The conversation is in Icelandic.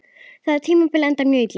Það tímabil endaði mjög illa.